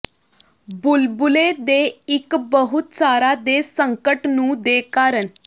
ਬੁਲਬਲੇ ਦੇ ਇੱਕ ਬਹੁਤ ਸਾਰਾ ਦੇ ਸੰਕਟ ਨੂੰ ਦੇ ਕਾਰਨ